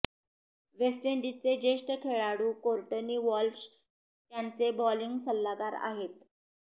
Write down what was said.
waste इंडिजचे ज्येष्ठ खेळाडू कोर्टनी वॉल्श त्यांचे बॉलिंग सल्लागार आहेत